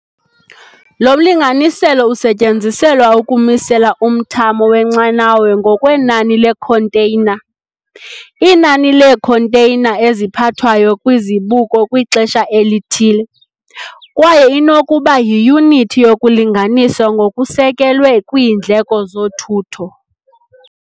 Lo mlinganiselo usetyenziselwa ukumisela umthamo wenqanawa ngokwenani leekhonteyina, inani leekhonteyina eziphathwayo kwizibuko kwixesha elithile, kwaye inokuba yiyunithi yokulinganisa ngokusekelwe kwiindleko zothutho.